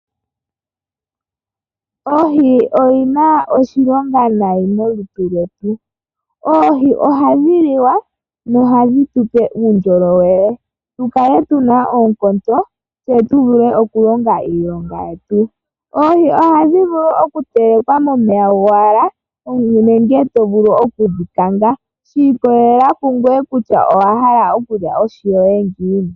Oohi odhina oshilonga nayi molutu lwetu . Oohi ohadhi liwa nohadhi tupe uundjolowele , tukale tuna oonkondo tse tuvule okulonga iilonga yeti. Oohi ohadhi vulu okutelekwa momeya gowala nenge tovulu okudhi kanga, shikolelela kungoye kutya owa hala okulya ohi yoye ngiini.